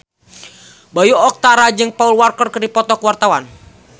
Bayu Octara jeung Paul Walker keur dipoto ku wartawan